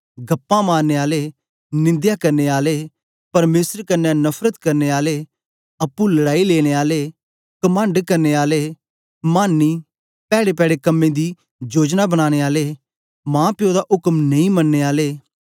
गपाँ मारने आले निंदया करने आले परमेसर कन्ने नफरत करने आले अप्पुं लड़ाई लेने आले कमंड करने आले मानी पैड़ेपैड़े कम्में दी जोयनां बनानें आले माप्यों दा उक्म नेई मनने आले